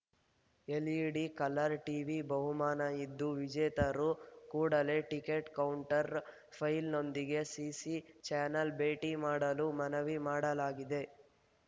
LED colour TV ಬಹುಮಾನ ಇದ್ದು ವಿಜೇತರು ಕೂಡಲೇ ಟಿಕೆಟ್‌ನ ಕೌಂಟರ್‌ ಫೈಲ್‌ನೊಂದಿಗೆ ಸಿಸಿ ಚಾನೆಲ್‌ ಭೇಟಿ ಮಾಡಲು ಮನವಿ ಮಾಡಲಾಗಿದೆ